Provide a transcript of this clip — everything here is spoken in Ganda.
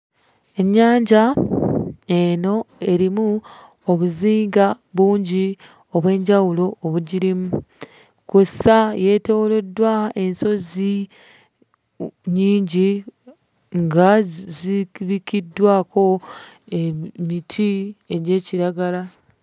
Ennyanja eno erimu obuzinga bungi obw'enjawulo obugirimu kw'ossa yeetooloddwa ensozi nnyingi nga zikirikiddwako emiti egya kiragala.